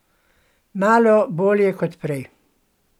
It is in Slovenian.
Malo bolje kot prej.